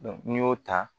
n'i y'o ta